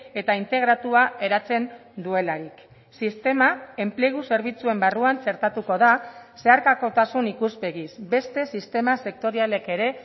eta integratua eratzen duelarik sistema enplegu zerbitzuen barruan txertatuko da zeharkakotasun ikuspegiz beste sistema sektorialek ere